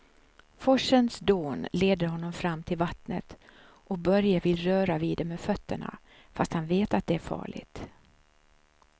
Forsens dån leder honom fram till vattnet och Börje vill röra vid det med fötterna, fast han vet att det är farligt.